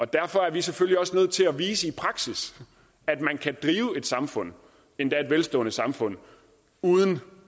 derfor er vi selvfølgelig også nødt til at vise i praksis at man kan drive et samfund endda et velstående samfund uden